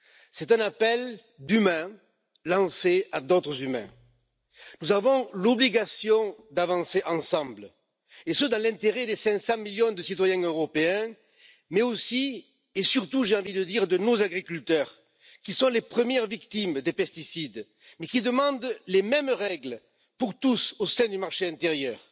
C'est un appel d'humains lancé à d'autres humains. Nous avons l'obligation d'avancer ensemble, et ce dans l'intérêt des 500 millions de citoyens européens, mais aussi et surtout j'ai envie de dire de nos agriculteurs, qui sont les premières victimes des pesticides, mais qui demandent les mêmes règles pour tous au sein du marché intérieur.